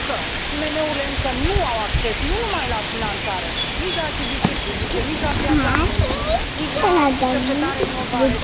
Pentru că IMM urile încă nu au acces, nu numai la finanțare, nici la achiziții publice, nici la piața muncii, nici la cercetare inovare.